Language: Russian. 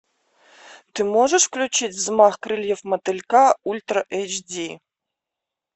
ты можешь включить взмах крыльев мотылька ультра эйч ди